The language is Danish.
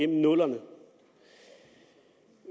nullerne